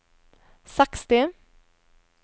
seksti